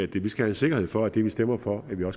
vi skal have sikkerhed for at det vi stemmer for kan vi jo